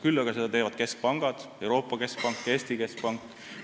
Küll aga teevad seda keskpangad, Euroopa Keskpank ja Eesti Pank.